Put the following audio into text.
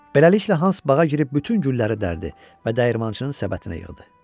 Beləliklə Hans bağa girib bütün gülləri dərdi və dəyirmançının səbətinə yığdı.